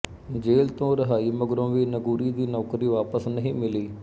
ਜੇਲ੍ਹ ਤੋਂ ਰਿਹਾਈ ਮਗਰੋਂ ਵੀ ਨਗੂਗੀ ਦੀ ਨੌਕਰੀ ਵਾਪਸ ਨਹੀਂ ਮਿਲੀ